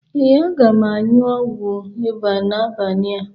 Ee, aga m añyu ọgwu ịba na-abania